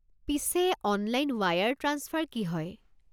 পিছে, online wire transfer কি হয়?